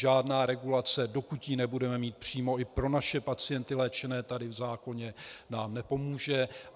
Žádná regulace, dokud ji budeme mít přímo i pro naše pacienty, léčené tady, v zákoně, nám nepomůže.